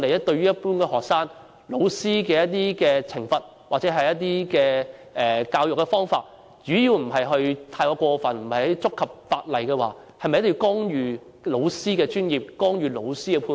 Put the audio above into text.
對於一般學生，老師的一些懲罰或教育方法只要不是太過分或違反法例，我們是否一定要干預老師的專業判斷？